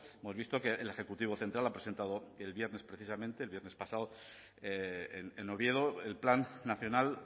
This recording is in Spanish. hemos visto que el ejecutivo central ha presentado el viernes precisamente el viernes pasado en oviedo el plan nacional